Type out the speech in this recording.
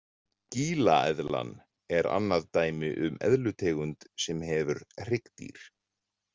Gíla-eðlan er annað dæmi um eðlutegund sem hefur hryggdýr.